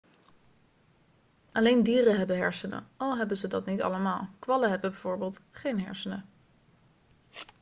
alleen dieren hebben hersenen al hebben ze dat niet allemaal; kwallen hebben bijvoorbeeld geen hersenen